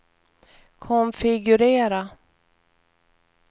konfigurera